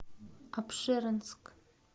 апшеронск